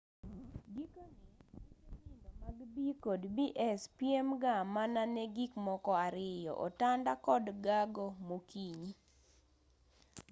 gikone ute nindo mag b&bs piem ga mana ne gik moko ariyo otanda kod gago mokinyi